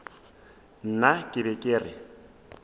nna ke be ke re